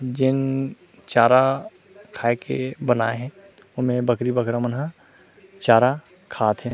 जेन चारा खाए के बना हे ओमें बकरी-बकरा मन हा चारा खात हे।